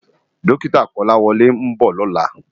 Dòkitá Kolawole n bò lòlá